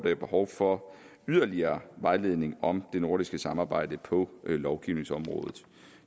er behov for yderligere vejledning om det nordiske samarbejde på lovgivningsområdet